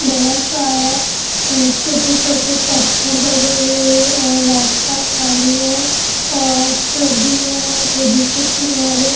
बहोत सारा छोटे छोटे पत्थर बने है और रास्ता खाली है और नदी है नदी के किनारे --